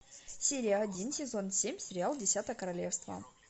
серия один сезон семь сериал десятое королевство